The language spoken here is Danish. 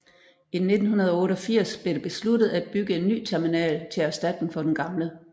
I 1988 blev det besluttet af bygge en ny terminal til erstatning for den gamle